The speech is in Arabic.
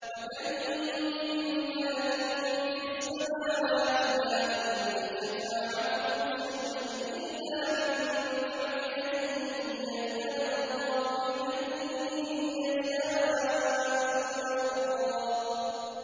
۞ وَكَم مِّن مَّلَكٍ فِي السَّمَاوَاتِ لَا تُغْنِي شَفَاعَتُهُمْ شَيْئًا إِلَّا مِن بَعْدِ أَن يَأْذَنَ اللَّهُ لِمَن يَشَاءُ وَيَرْضَىٰ